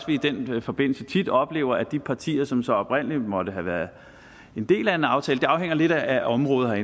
vi i den forbindelse tit oplever at de partier som så oprindelig måtte have været en del af en aftale det afhænger lidt af området